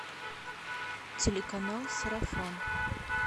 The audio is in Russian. телеканал сарафан